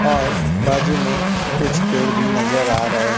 और बाजू में कुछ पेड़ भी नजर आ रहे--